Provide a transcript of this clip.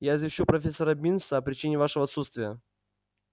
я извещу профессора бинса о причине вашего отсутствия